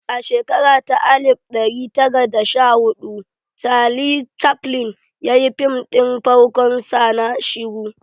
A shekara ta alif ɗari tara da sha hudu Charlie Chaflin ya yi fim ɗin farkon sa na shiru